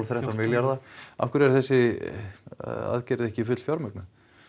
þrettán milljarða af hverju er þessi aðgerð ekki fullfjármögnuð